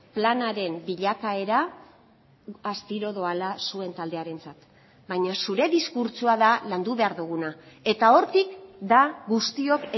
planaren bilakaera astiro doala zuen taldearentzat baina zure diskurtsoa da landu behar duguna eta hortik da guztiok